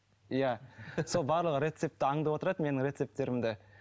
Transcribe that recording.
иә сол барлығы рецепті аңдып отырады менің рецептерімді